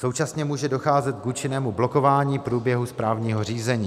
Současně může docházet k účinnému blokování průběhu správního řízení.